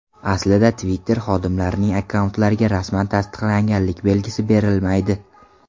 Aslida Twitter xodimlarining akkauntlariga rasman tasdiqlanganlik belgisi berilmaydi.